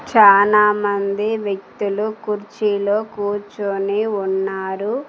చాలామంది వ్యక్తులు కుర్చీలో కూర్చొని ఉన్నారు.